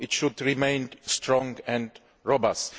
It should remain strong and robust.